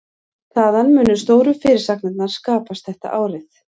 Þaðan munu stóru fyrirsagnirnar skapast þetta árið.